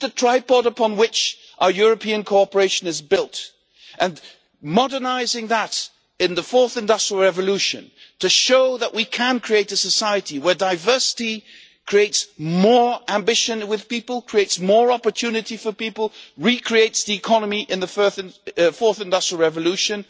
This is the tripod upon which our European cooperation is built, and modernising that in the fourth industrial revolution to show that we can create a society where diversity creates more ambition with people, creates more opportunity for people, and recreates the economy in the fourth industrial revolution,